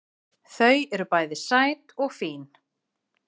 Þau eru bæði sæt og fín